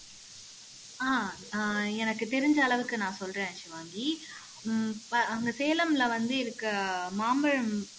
ஆஹ் அஹ் எனக்கு தெரிஞ்ச அளவுக்கு நான் சொல்றேன் ஷிவாங்கி உம் ப அங்க சேலம்ல வந்து இருக்க மாம்பழம்